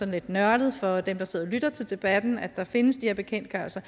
lidt nørdet for dem der sidder og lytter til debatten at der findes de her bekendtgørelser